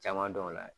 Caman dɔn o la